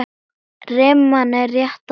Rimman er rétt að byrja.